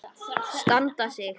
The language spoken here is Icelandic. Standa sig.